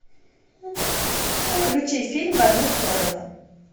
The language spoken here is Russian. включи фильм в одну сторону